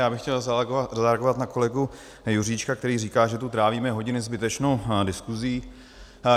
Já bych chtěl zareagovat na kolegu Juříčka, který říká, že tu trávíme hodiny zbytečnou diskuzí.